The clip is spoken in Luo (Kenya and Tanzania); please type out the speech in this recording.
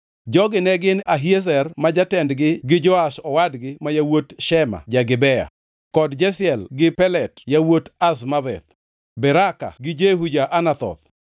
Jogi ne gin: Ahiezer ma jatendgi gi Joash owadgi ma yawuot Shema ja-Gibea, kod Jeziel gi Pelet yawuot Azmaveth; Beraka gi Jehu jo-Anathoth,